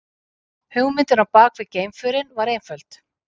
Hugmyndin á bakvið geimförin var einföld.